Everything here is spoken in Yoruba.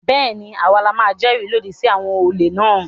Bẹ́ẹ̀ ni, à wa la máa jẹ́rìí lòdì sí àwọn olè náà.